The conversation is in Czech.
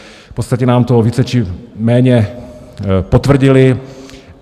V podstatě nám to více či méně potvrdili.